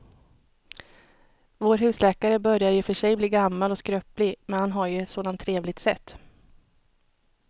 Vår husläkare börjar i och för sig bli gammal och skröplig, men han har ju ett sådant trevligt sätt!